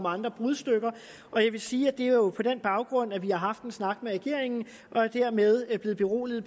andre brudstykker jeg vil sige at det jo er på den baggrund vi har haft en snak med regeringen og er dermed blevet beroliget